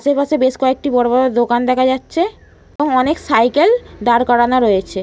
সে পাশে বড়ো বড়ো বেশ কয়েকটি দোকান দেখা যাচ্ছে। অনেক সাইকেল দাঁড় করানো রয়েছে।